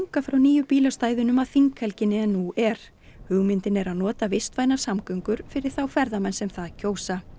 frá nýju bílastæðunum að þinghelginni en nú er hugmyndin er að nota vistvænar samgöngur fyrir þá ferðamenn sem það kjósa